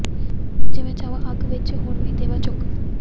ਜੇ ਮੈਂ ਚਾਹਵਾਂ ਅਗ ਵਿਚ ਹੁਣ ਈ ਦੇਵਾਂ ਝੋਕ